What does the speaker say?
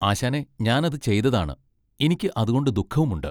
ആശാനെ ഞാനത് ചെയ്തതാണ്. ഇനിക്ക് അതുകൊണ്ട് ദുഃഖവുമുണ്ട്.